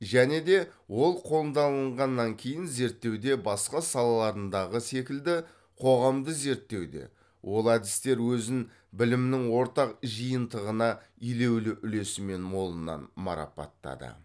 және де ол кейін зерттеуде басқа салаларындағы секілді қоғамды зерттеуде ол әдістер өзін білімнің ортақ жиынтығына елеулі үлесімен молынан марапаттады